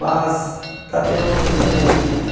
Mas está tendo uma coisa boa agora.